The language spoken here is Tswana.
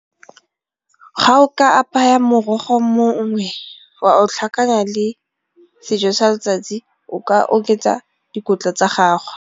Ga o ka apaya morogo mongwe wa tlhakanya le sejo sa letsatsi o ka oketsa dikotla tsa gago.